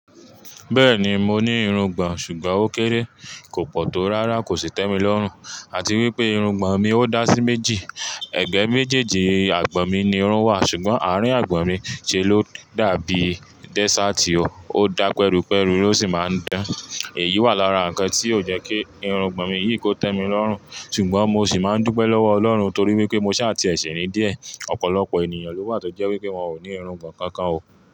Bẹ́ẹ̀ni mo ní irungbọ̀n, ṣùgbọ́n ó kéré, kò pọ̀ tó rárá kò sì tẹ́mi lọ́rùn. Àti wípé irungbọ̀n mi ó dá sí méjì. Ẹ̀gbẹ́ méjèèjì àgbọ̀n mi ni irun wà, ṣùgbọ́n àárín àgbọ̀n mi ṣe ló dàbí dẹ́sààtì o. Ó dá pẹ́rúpẹ́rú ó sì máa ń dán. Èyí wà lára ǹkan tí ó jẹ́ kí irungbọ̀n mi yìí kò tẹ́mi lọ́rùn. Ṣùgbọ́n mo ṣì máa ń dúpẹ́ lọ́wọ́ ọlọ́run torí wípé mo ṣà ti ẹ ṣi ní díẹ̀. Ọ̀pọ̀lọpọ̀ ènìyàn ló wà tó jẹ́ wípé wọ́n ò ní irungbọ̀n kankan o.